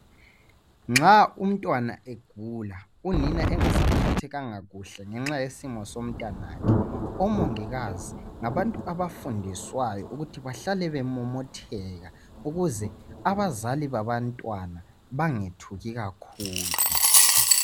Nxa umntwana egula unina engasaphathekanga kahle ngenxa yesimo somntwana omongikazi ngabantu abafundiswayo ukuthi bahlale bemomotheka ukuze abazali babantwana bangethuki kakhulu.